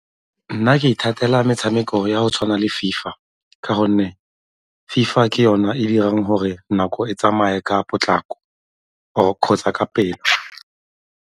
Nna ke ithatela metshameko ya go tshwana le FIFA ka gonne FIFA ke yona e dirang gore nako e tsamaye ka potlako or kgotsa ka pele.